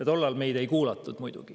Tol ajal meid muidugi ei kuulatud.